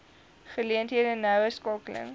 geleenthede noue skakeling